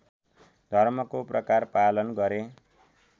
धर्मको प्रकार पालन गरे